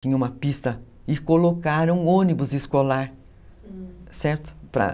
Tinha uma pista e colocaram um ônibus escolar, certo?